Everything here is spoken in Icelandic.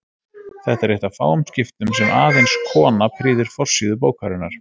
Þetta er eitt af fáum skiptum sem aðeins kona prýðir forsíðu bókarinnar.